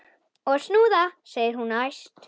Og snúða! segir hún æst.